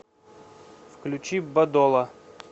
включи бадола